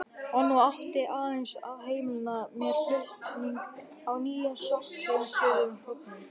Og nú átti aðeins að heimila mér flutning á nýjum sótthreinsuðum hrognum.